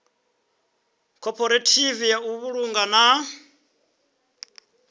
khophorethivi ya u vhulunga na